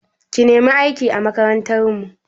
Ki nemi aiki a makarantar mu!